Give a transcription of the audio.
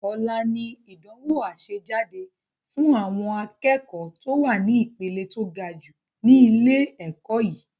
Ọlá ni ìdánwò àsejáde fun àwọn akẹ́kọ̀ to wá ní ìpele to gajù ni ilé ẹ̀kọ́ yìí